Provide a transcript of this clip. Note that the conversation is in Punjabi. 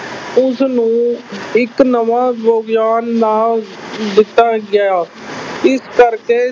ਉਸਨੂੰ ਇੱਕ ਨਵਾਂ ਵਿਗਿਆਨ ਨਾਂ ਦਿੱਤਾ ਗਿਆ ਇਸ ਕਰਕੇ